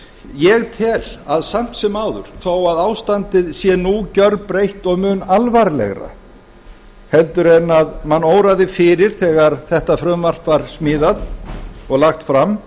ég tel samt sem áður að þó að ástandið sé nú gerbreytt og mun alvarlegra heldur en mann óraði fyrir þegar þetta frumvarp var smíðað og lagt fram